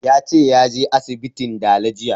Ya ce ya je asibitin dala jiya